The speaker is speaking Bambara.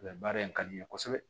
Mɛ baara in ka di n ye kosɛbɛ